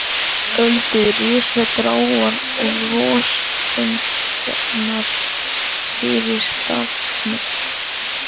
Öldur risu gráar og rosafengnar fyrir stafni.